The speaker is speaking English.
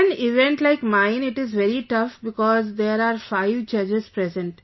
In an event like mine it is very tough because there are five judges present